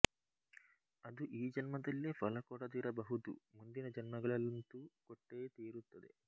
ಅದು ಈ ಜನ್ಮದಲ್ಲೇ ಫಲ ಕೊಡದಿರಬಹುದು ಮುಂದಿನ ಜನ್ಮಗಳಲ್ಲಂತೂ ಕೊಟ್ಟೇ ತೀರುತ್ತದೆ